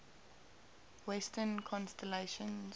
western constellations